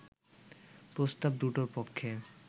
প্রস্তাব দুটোর পক্ষে